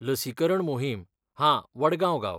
लसीकरण मोहीम, हां, वडगांव गांव.